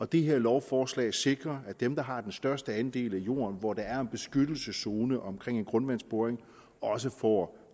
det her lovforslag sikrer at dem der har den største andel af jorden hvor der er en beskyttelseszone omkring en grundvandsboring også får